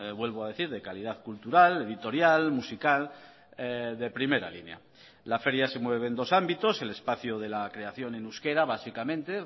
vuelvo a decir de calidad cultural editorial musical de primera línea la feria se mueve en dos ámbitos el espacio de la creación en euskera básicamente